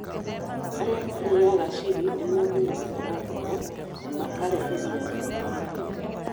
Arĩa marĩĩaga chili nĩ magunĩkaga ngoro na makareheria ruo rwa mahĩndĩ.